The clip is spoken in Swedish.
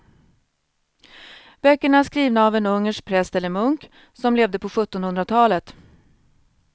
Böckerna är skrivna av en ungersk präst eller munk som levde på sjuttonhundratalet.